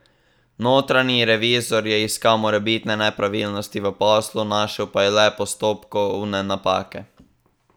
Notranji revizor je iskal morebitne nepravilnosti v poslu, našel pa je le postopkovne napake.